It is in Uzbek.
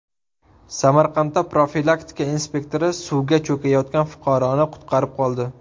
Samarqandda profilaktika inspektori suvga cho‘kayotgan fuqaroni qutqarib qoldi.